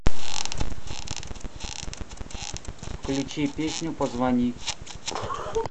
включи песню позвони